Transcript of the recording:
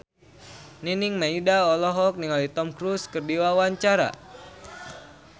Nining Meida olohok ningali Tom Cruise keur diwawancara